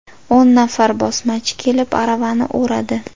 O‘n nafar bosmachi kelib aravani o‘radi.